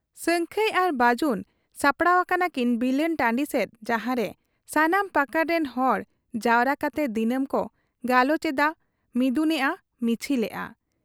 ᱥᱟᱹᱝᱠᱷᱟᱹᱭ ᱟᱨ ᱵᱟᱹᱡᱩᱱ ᱥᱟᱯᱲᱟᱣ ᱟᱠᱟᱱᱟᱠᱤᱱ ᱵᱤᱞᱟᱹᱱ ᱴᱟᱺᱰᱤ ᱥᱮᱫ ᱡᱟᱦᱟᱸᱨᱮ ᱥᱟᱱᱟᱢ ᱯᱟᱠᱟᱲ ᱨᱤᱱ ᱦᱚᱲ ᱡᱟᱣᱨᱟ ᱠᱟᱛᱮ ᱫᱤᱱᱟᱹᱢ ᱠᱚ ᱜᱟᱞᱚᱪ ᱮᱫ ᱟ ᱢᱤᱫᱩᱱᱮᱜ ᱟ, ᱢᱤᱪᱷᱤᱞᱮᱜ ᱟ ᱾